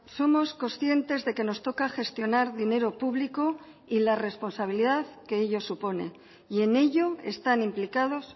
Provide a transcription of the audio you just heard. somos conscientes de que nos toca gestionar dinero público y la responsabilidad que ello supone y en ello están implicados